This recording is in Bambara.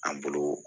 An bolo